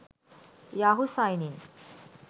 yahoo signin